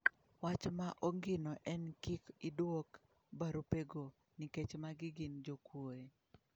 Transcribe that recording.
Wach ma ongino en ni kik idwok barupego, nikech magi gin jokuoye.